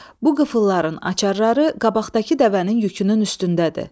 Bu qıfılların açarları qabaqdakı dəvənin yükünün üstündədir.